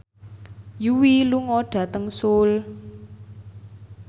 Yui lunga dhateng Seoul